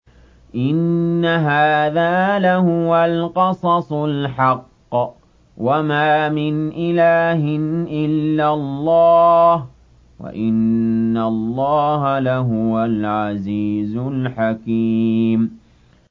إِنَّ هَٰذَا لَهُوَ الْقَصَصُ الْحَقُّ ۚ وَمَا مِنْ إِلَٰهٍ إِلَّا اللَّهُ ۚ وَإِنَّ اللَّهَ لَهُوَ الْعَزِيزُ الْحَكِيمُ